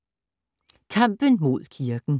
Kampen mod kirken